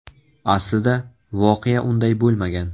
Aslida, voqea unday bo‘lmagan.